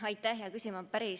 Aitäh, hea küsija!